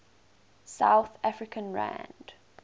south african rand